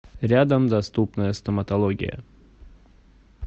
рядом доступная стоматология